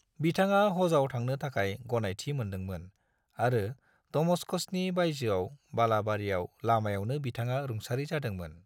बिथाङा हजाव थांनो थाखाय गनायथि मोनदोंमोन आरो दमश्कशनि बायजोआव बालाबारियाव लामायावनो बिथाङा रुंसारि जादोंमोन।